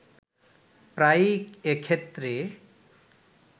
প্রায়ই এক্ষেত্রে